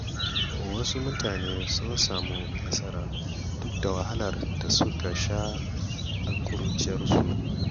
Wasu mutane sun samu nasara duk da wahalar da suka sha a ƙuruciyarsu.